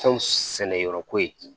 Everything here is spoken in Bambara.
Fɛnw sɛnɛ yɔrɔ ko ye